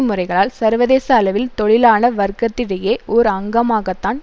முறைகளால் சர்வதேச அளவில் தொழிலாள வர்க்கத்திடையே ஓர் அங்மாகத்தான்